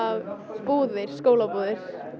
búðir skólabúðir